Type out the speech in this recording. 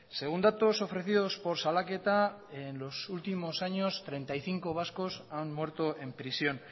según datos ofrecidos por salaketa en los últimos años treinta y cinco vascos han muerto en prisión